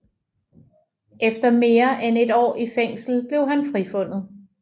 Efter mere end et år i fængsel blev han frifundet